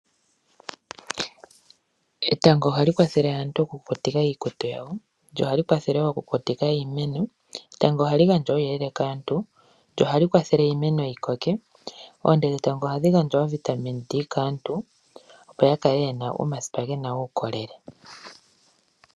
Etango ohali kwathele aantu okukutika iikutu yawo lyo ohali kwathele okukutika iimeno. Etango ohali gandja uuyelele kaantu lyo ohali kwathele iimeno yikoke oonte dhetango ohadhi gandja ovitamin D kaantu opo ya kale yena omasipa gena uukolele